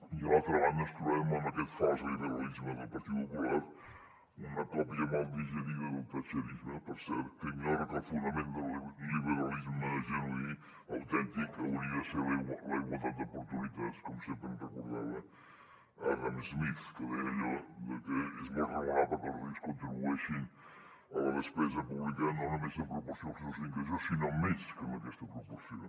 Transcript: i a l’altra banda ens trobarem amb aquest fals liberalisme del partit popular una còpia mal digerida del thatcherisme per cert que ignora que el fonament del liberalisme genuí autèntic hauria de ser la igualtat d’oportunitats com sempre ens recordava adam smith que deia allò de que és molt raonable que els rics contribueixin a la despesa pública no només en proporció als seus ingressos sinó més que en aquesta proporció